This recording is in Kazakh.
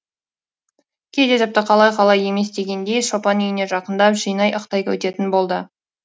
кейде тіпті қалай қалай емес дегендей шопан үйіне жақындап жанай ықтай өтетін болды